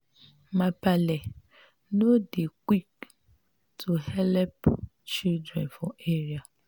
my paale no dey quik to helep children for area.